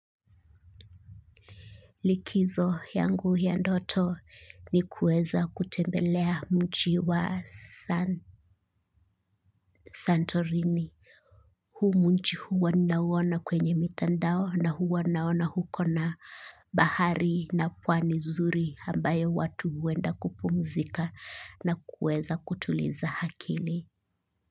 Likizo yangu ya ndoto ni kuweza kutembelea mji wa Santorini. Huu mji huwa nauona kwenye mitandao na huwa naona uko na bahari na pwani zuri ambayo watu huenda kupumzika na kuweza kutuliza akili.